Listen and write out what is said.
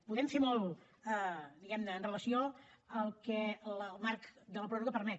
podem fer molt diguem ne amb relació al que el marc de la pròrroga permet